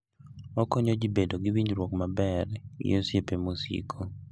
Okonyo ji bedo gi winjruok maber gi osiepe masiko.